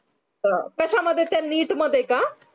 कश्यामध्ये त्या neet मध्ये का